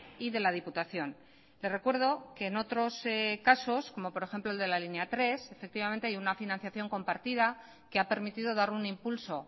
y de la diputación le recuerdo que en otros casos como por ejemplo el de la línea tres efectivamente hay una financiación compartida que ha permitido dar un impulso